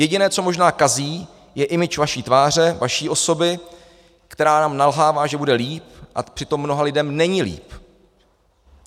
Jediné, co možná kazí, je image vaší tváře, vaší osoby, která nám nalhává, že bude líp, a přitom mnoha lidem není líp.